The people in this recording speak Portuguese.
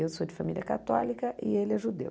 Eu sou de família católica e ele é judeu.